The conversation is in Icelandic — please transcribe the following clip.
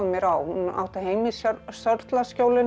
á hún átti heima í